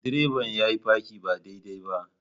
Direban yayi parking ba daidai ba.